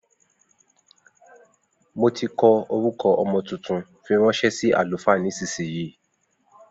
Mo tí kọ orúkọ ọmọ tuntun, fí ránṣẹ sí àlùfáà nísìsiyìí